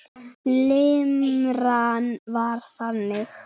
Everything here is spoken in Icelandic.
Limran var þannig